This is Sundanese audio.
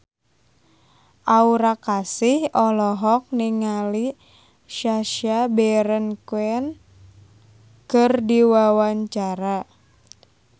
Aura Kasih olohok ningali Sacha Baron Cohen keur diwawancara